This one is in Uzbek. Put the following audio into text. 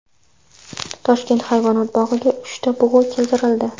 Toshkent hayvonot bog‘iga uchta bug‘u keltirildi.